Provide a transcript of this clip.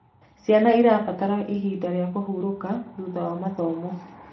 Ciana irabatara ihinda rĩa kũhũrũka thutha wa mathomo